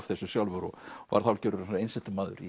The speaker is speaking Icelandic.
þessu sjálfur og varð hálfgerður einsetumaður